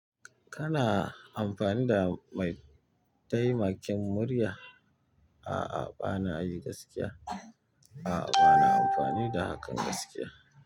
Kana amfani da mai taimakin murya? A'a bana yi gaskiya. A'a, bana amfani da hakan gaskiya.